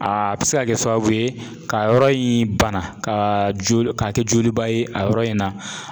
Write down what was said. Aa bɛ se ka kɛ sababu ye ka yɔrɔ in bana kaa jolo k'a kɛ joli ba ye a yɔrɔ in na